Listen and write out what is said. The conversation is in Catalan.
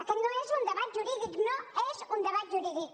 aquest no és un debat jurídic no és un debat jurídic